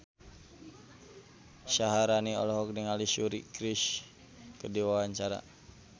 Syaharani olohok ningali Suri Cruise keur diwawancara